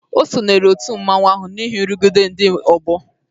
O sonyeere òtù nzuzo ahụ n'ihi nrụgide ndị ọgbọ.